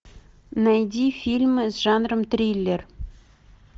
найди фильмы с жанром триллер